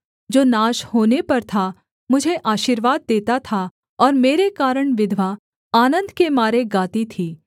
जो नाश होने पर था मुझे आशीर्वाद देता था और मेरे कारण विधवा आनन्द के मारे गाती थी